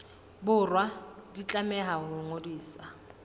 borwa di tlameha ho ngodiswa